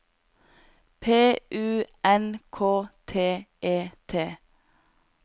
P U N K T E T